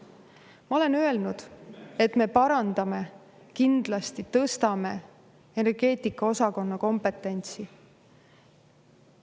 Ma olen öelnud, et me parandame kindlasti, tõstame energeetikaosakonna kompetentsi.